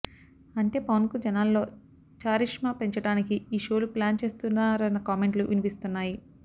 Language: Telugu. అంటే పవన్ కు జనాల్లో చరిష్మా పెంచడానికి ఈ షోలు ప్లాన్ చేస్తున్నారన్న కామెంట్లు వినిపిస్తున్నాయి